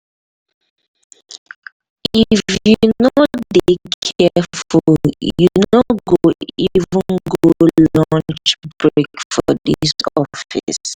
if you no dey careful you no go even go lunch break for dis office.